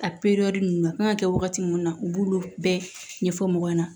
A ninnu a kan ka kɛ wagati munnu na u b'olu bɛɛ ɲɛfɔ mɔgɔ ɲɛna